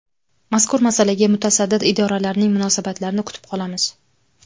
Mazkur masalaga mutasaddi idoralarning munosabatlarini kutib qolamiz.